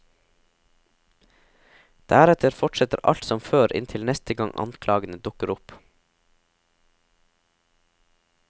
Deretter fortsetter alt som før inntil neste gang anklagene dukker opp.